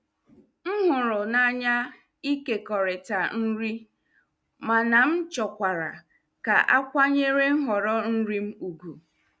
M hụrụ n'anya ịkekọrịta nri, mana m chọkwara ka a kwanyere nhọrọ nri m ùgwù.